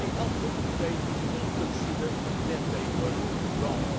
It would be helpful if they could consider that they were wrong.